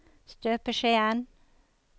støpeskjeen